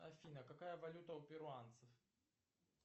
афина какая валюта у перуанцев